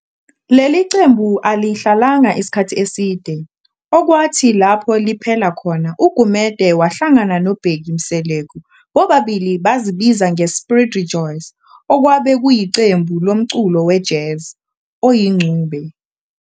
Leli qembu alihlalanga isikhathi eside, okwathi lapho liphela khona uGumede wahlagana noBheki Mseleku bobabili bazibiza nge"Spirit Rejoice" okwabe kuyiqembu lomculo we-Jazz oyingxube.